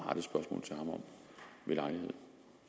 men